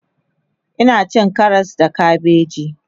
Ina cin Karas da kabeji